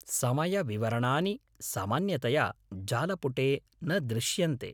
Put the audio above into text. समयविवरणानि सामान्यतया जालपुटे न दृश्यन्ते।